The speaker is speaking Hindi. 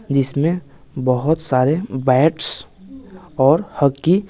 जिसमें बहुत सारे बैट्स और हॉकी --